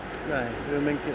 nei við höfum